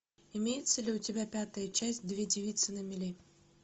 имеется ли у тебя пятая часть две девицы на мели